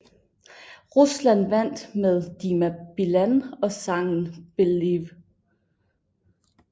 Rusland vandt med Dima Bilan og sangen Believe